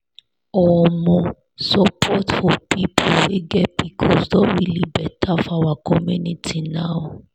omosupport for people wey get pcos don really better for our community now.